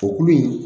O kulu in